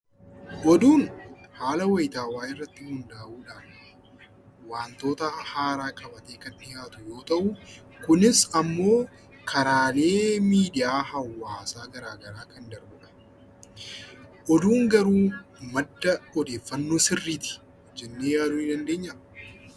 Oduun haala wayitaawaa irratti hundaa'uudhaan wantoota haaraa qabatee kan dhiyaatu yoo ta'u, kunis ammoo karaalee miidiyaa hawaasaa garaagaraa kan darbu dha. Oduun garuu madda odeeffannoo sirriiti jennee yaaduu ni dandeenyaa?